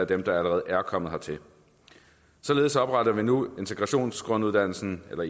dem der allerede er kommet hertil således opretter vi nu integrationsgrunduddannelsen eller